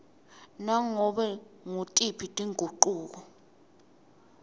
nganobe ngutiphi tingucuko